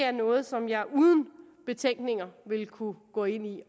er noget som jeg uden betænkning ville kunne gå ind